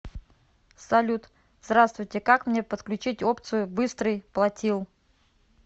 салют здравствуйте как мне подключить опцию быстрый платил